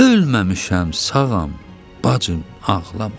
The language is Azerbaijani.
Ölməmişəm, sağam, bacım, ağlama.